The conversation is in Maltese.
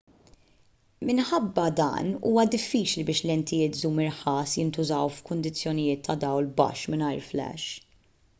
minħabba dan huwa diffiċli biex lentijiet żum irħas jintużaw f'kundizzjonijiet ta' dawl baxx mingħajr flash